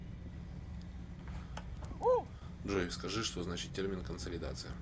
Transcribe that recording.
джой скажи что значит термин консолидация